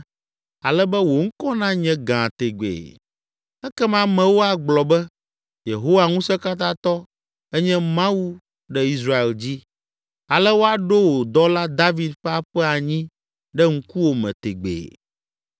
ale be wò ŋkɔ nanye gã tegbee. Ekema amewo agblɔ be, ‘Yehowa Ŋusẽkatãtɔ enye Mawu ɖe Israel dzi!’ Ale woaɖo wò dɔla, David ƒe aƒe anyi ɖe ŋkuwòme tegbee.